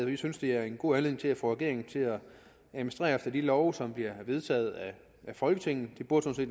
vi synes det er en god anledning til at få regeringen til at administrere efter de love som er vedtaget af folketinget det burde